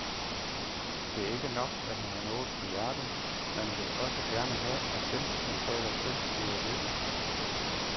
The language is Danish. Det er ikke nok, at man har noget på hjerte, man vil jo også gerne have, at dem, man taler til, gider lytte.